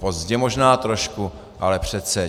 Pozdě možná trošku, ale přece.